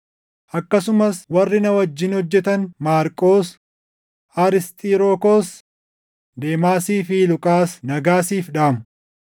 Akkasumas warri na wajjin hojjetan Maarqos, Arisxirokoos, Deemaasii fi Luqaas nagaa siif dhaamu.